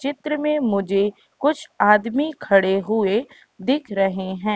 चित्र में मुझे कुछ आदमी खड़े हुए दिख रहे है।